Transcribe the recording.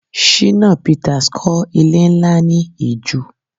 Shina Pitas kọ́ ilé nlá ni Ìju